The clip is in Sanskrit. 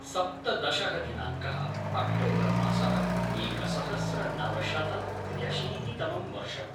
सप्तदशः दिनाङ्कः - अक्टोबर् मासः - एकसहस्रनवशतत्र्यशीतितमं वर्षम्